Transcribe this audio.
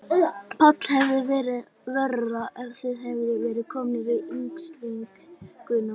Páll: Hefði verið verra ef þið hefðuð verið komnir í innsiglinguna?